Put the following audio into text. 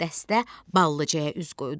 Dəstə Ballıcaya üz qoydu.